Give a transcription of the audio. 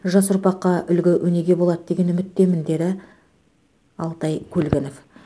жас ұрпаққа үлгі өнеге болады деген үміттемін деді алтай көлгінов